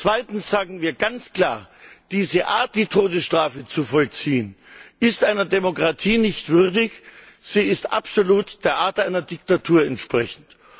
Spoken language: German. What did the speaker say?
Zweitens sagen wir ganz klar Diese Art, die Todesstrafe zu vollziehen, ist einer Demokratie nicht würdig, sie ist absolut der Art einer Diktatur entsprechend.